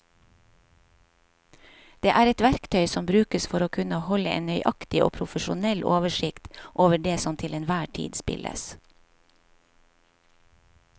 Det er et verktøy som brukes for å kunne holde en nøyaktig og profesjonell oversikt over det som til enhver tid spilles.